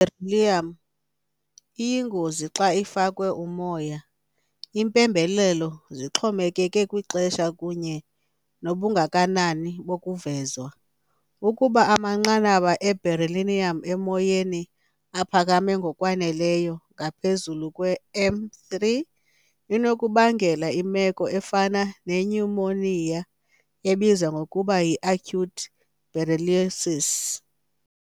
I-Beryllium iyingozi xa ifakwe umoya - iimpembelelo zixhomekeke kwixesha kunye nobungakanani bokuvezwa. Ukuba amanqanaba e-beryllium emoyeni aphakame ngokwaneleyo, ngaphezu kwe m three, inokubangela imeko efana nenyumoniya, ebizwa ngokuba yi-acute berylliosis.